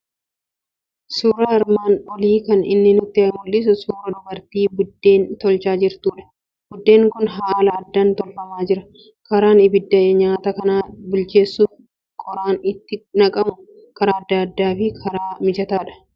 Suuraan armaan olii kan inni nutti mul'isu suuraa dubartii biddeen tolchaa jirtudha. Biddeen kun haala addaan tolfamaa jira. Karaan abidda nyaata kana bilcheessuuf qoraan itti naqamu karaa addaa fi karaa mijataadha.